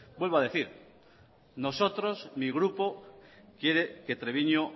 vuelvo a decir nosotros mi grupo quiere que treviño